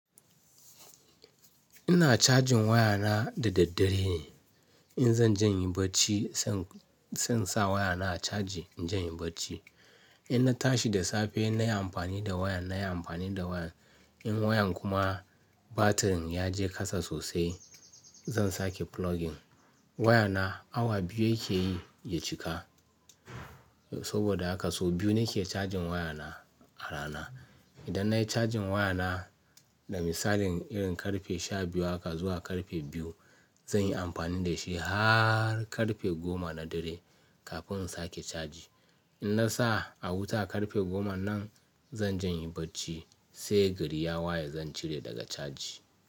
Ina cajin wayana da daddare. In zan janyi bacci zan, zan sa wayana a caji in janyi bacci. In na tashi da safe nayi amfani da wayan nayi amfani da wayan. In wayan kuma batirin ya je kasa sosai zan sake plugging. Wayana awa biyu yake yi ya cika. Saboda haka sau biyu nake cajin wayana a rana. Idan nayi cajin wayana da misalin irin karfe sha biyu haka zuwa karfe biyu zan yi amfani da shi har karfe goma na dare kafin in sake caji. In na sa a wuta karfe goma nan zan janyi bacci sai gari ya waye zan cire daga caji.